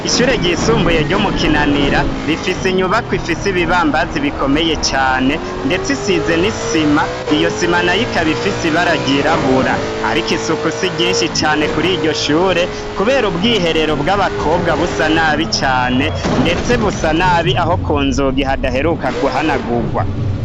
Ishure ryisumbuye ryo mu Kinanira rifise inyubako ifise ibibambazi bikomeye cane, ndetse isize n'isima, iyo sima na yo ikaba ifise ibara ry'irabura. Ariko isuku si ryinshi cane kuri iryo shure kubera ubwiherero bw'abakobwa busa nabi cane, ndetse busa nabi aho kunzugi hadaheruka kuhanagurwa.